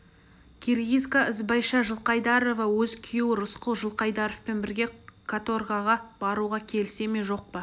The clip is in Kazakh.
киргизка ізбайша жылқайдарова өз күйеуі рысқұл жылқайдаровпен бірге каторгаға баруға келісе ме жоқ па